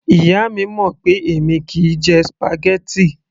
Ìyá mi mọ̀ pé èmi kìí jẹ spaghetti